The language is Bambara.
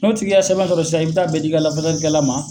N'o tigi ka sɛbɛn sɔrɔ sisan i bɛ taa bɛɛ di i ka lafasali kɛla ma.